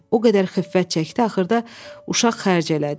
O qədər xiffət çəkdi, axırda uşaq xərc elədi.